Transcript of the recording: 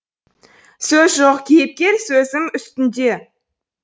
сөз жоқ кейіпкер с зім үстінде